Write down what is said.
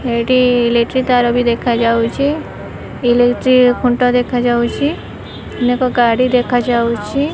ଏଇଟି electric ତାର ବି ଦେଖାଯାଉଛି ଇଲେକ୍ଟ୍ରି ଖୁଣ୍ଟ ଦେଖାଯାଉଚି ଅନେକ ଗାଡି ଦେଖାଯାଉଚି।